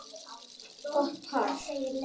Gott par.